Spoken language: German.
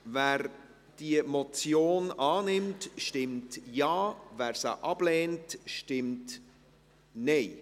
Wer diese Motion annimmt, stimmt Ja, wer diese ablehnt, stimmt Nein.